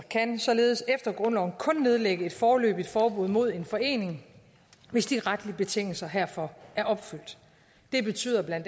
kan således efter grundloven kun nedlægge et foreløbigt forbud mod en forening hvis de retlige betingelser herfor er opfyldt det betyder bla